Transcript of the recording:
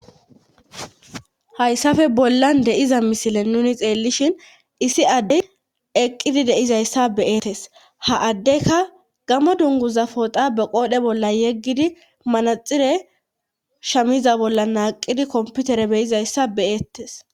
hayssafe bollan deiza misile nuni xeellishin issi adde eqqidi deizayssa beeetes ha addeyka gamo dunguza pooxa be qoodhe bolla yeggidi manaxire shamiza bolla naaqidi komputere beyizayssa beettes